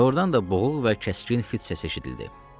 Doğrudan da boğuq və kəskin fit səsi eşidildi.